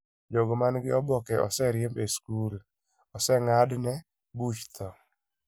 KtkKijiji: Jogo ma nigi oboke oseriemb e skul/oseng'adne buch tho.